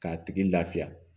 K'a tigi lafiya